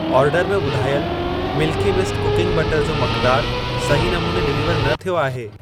Order में ॿुधायल Milky Mist cooking butter जो मक़दार सही नमूने डिलीवर न थियो आहे।